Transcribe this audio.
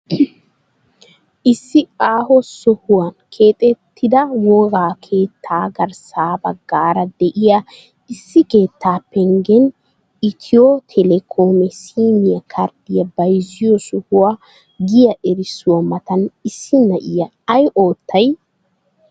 Issi aaho sohuwa keexxettida wogga keettaa garssa baggaara diya issi keetta penggen itiyo Telekom sim karddiya bayizziyo sohuwa giya erissuwaa matan issi na'iya ay oottay?